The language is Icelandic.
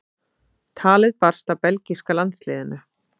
Talið barst að belgíska landsliðinu.